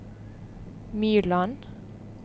Myrland